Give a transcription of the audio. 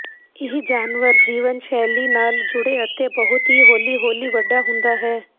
ਇਹ ਜਾਨਵਰ ਜੀਵਨ ਸ਼ੈਲੀ ਨਾਲ ਜੁੜੇ ਅਤੇ ਬਹੁਤ ਹੀ ਹੌਲੀ ਹੌਲੀ ਵੱਡਾ ਹੁੰਦਾ ਹੈ